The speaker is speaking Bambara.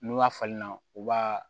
N'u y'a falen na u b'a